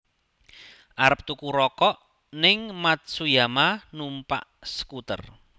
Arep tuku rokok ning Matsuyama numpak skuter